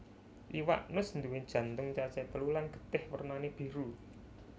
Iwak nus nduwé jantung cacahé telu lan getih wernané biru